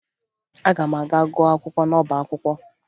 Aga m aga gụọ akwụkwọ n'ọba akwụkwọ